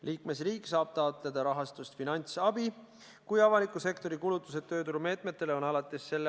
Liikmesriik saab taotleda rahastust finantsabi, kui avaliku sektori kulutused tööturumeetmetele on alates s.